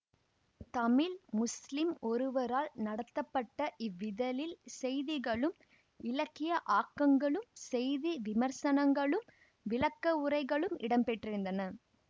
தமிழ் முஸ்லிம் ஒருவரால் நடத்தப்பட்ட இவ்விதழில் செய்திகளும் இலக்கிய ஆக்கங்களும் செய்தி விமர்சனங்களும் விளக்கவுரைகளும் இடம்பெற்றிருந்தன